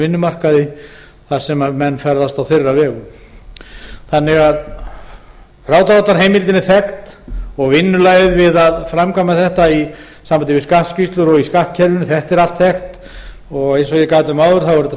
vinnumarkaði þar sem menn ferðast á þeirra vegum frádráttarheimildin er því þekkt og vinnulagið við að framkvæma þetta í sambandi við skattskýrslur og í skattkerfinu þetta er allt þekkt eins og ég gat um áður er þetta